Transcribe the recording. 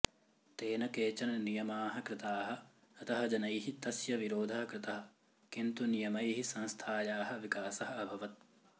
तेन केचन नियमाः कृताः अतः जनैः तस्य विरोधः कृतः किन्तु नियमैः संस्थायाः विकासः अभवत्